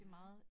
Ja